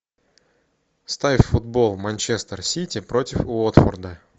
ставь футбол манчестер сити против уотфорда